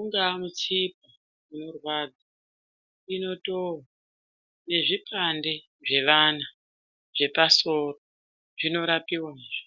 ungaa mitsipa unorwadza inotova nezvipande zvevana zvepasoro zvinorapiwa zve.